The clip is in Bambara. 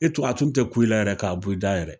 E tun a tun tɛ ku i la yɛrɛ k'a bɔ i da yɛrɛ!